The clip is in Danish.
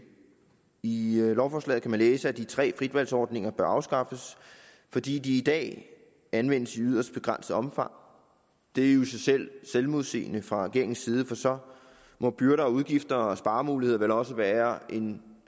i lovforslaget kan man læse at de tre frit valg ordninger bør afskaffes fordi de i dag anvendes i yderst begrænset omfang det er jo i sig selv selvmodsigende fra regeringens side for så må byrder og udgifter og sparemuligheder vel også være af en